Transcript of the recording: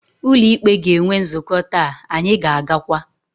Ụlọ ikpe ga-enwe nzukọ taa, anyị ga-agakwa.